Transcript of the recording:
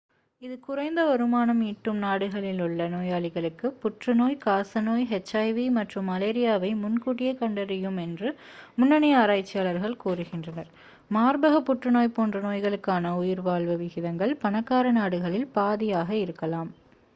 இது குறைந்த வருமானம் ஈட்டும் நாடுகளில் உள்ள நோயாளிகளுக்கு புற்றுநோய் காசநோய் எச்.ஐ.வி மற்றும் மலேரியாவை முன்கூட்டியே கண்டறியும் என்று முன்னணி ஆராய்ச்சியாளர்கள் கூறுகின்றனர் மார்பக புற்றுநோய் போன்ற நோய்களுக்கான உயிர்வாழ்வு விகிதங்கள் பணக்கார நாடுகளில் பாதியாக இருக்கலாம்